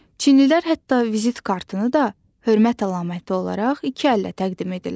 Çinlilər hətta vizit kartını da hörmət əlaməti olaraq iki əllə təqdim edirlər.